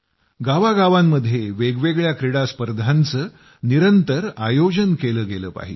गावांगावांमध्ये वेगवेगळ्या क्रीडा स्पर्धांचं निरंतर आयोजन केलं गेलं पाहिजे